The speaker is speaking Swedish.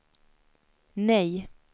nej